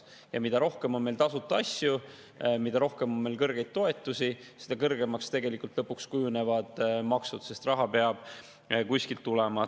Ja mida rohkem on meil tasuta asju, mida rohkem on meil kõrgeid toetusi, seda kõrgemaks kujunevad tegelikult lõpuks maksud, sest raha peab kuskilt tulema.